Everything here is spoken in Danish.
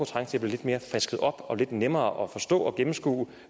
frisket lidt mere op og lidt nemmere at forstå og gennemskue